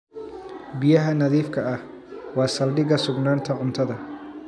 Biyaha nadiifka ah waa saldhigga sugnaanta cuntada.